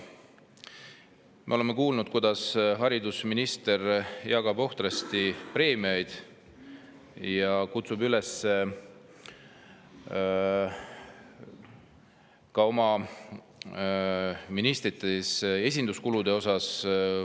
Me oleme kuulnud, kuidas haridusminister jagab ohtrasti preemiaid ning teeb üleskutseid ministrite esinduskulude kohta.